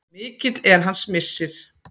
Mikill er hans missir.